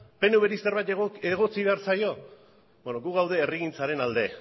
pnvri zerbait egotzi behar zaio beno gu gaude herrigintzaren alde